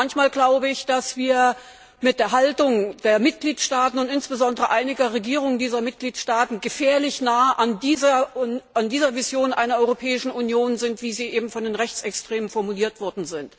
Manchmal glaube ich, dass wir mit der Haltung der Mitgliedstaaten und insbesondere einiger Regierungen dieser Mitgliedstaaten gefährlich nahe an dieser Vision einer Europäischen Union sind, wie sie eben von den Rechtsextremen formuliert wurde.